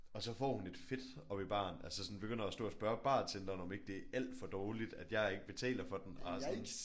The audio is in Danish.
Og så får hun et fit oppe i baren altså sådan og begynder at stå og spørge bartenderen om det ikke er alt for dårligt at jeg ikke betaler for den og er sådan